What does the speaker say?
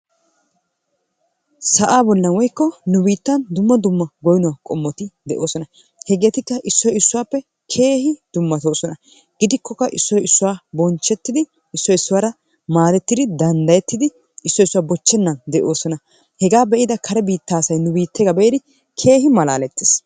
Sa'aa bollan woykko nu biittan dumma dumma goynno qommoti de'oosona. hegeetikka issoy issuwappe keehi dummatoosona. Gidikkokka issoy issuwa bonchettidi issoy issuwara maadettidi danddayettidi issoy issuwa bochennan de'oosona. Hegaa be'ida kare biittee asayu nu biiteebaa be'idi keehi malaaletees.